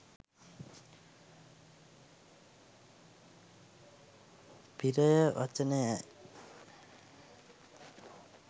පි්‍රය වචනයයි.